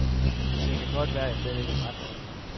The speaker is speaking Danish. Det kan godt være, at jeg slet ikke har ret.